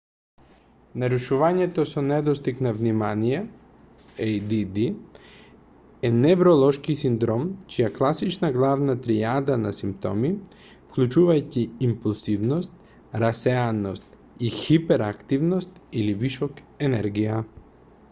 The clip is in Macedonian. нарушувањето со недостиг на внимание add е невролошки синдром чија класична главна тријада на симптоми вклучувајќи импулсивност расеаност и хиперактивност или вишок енергија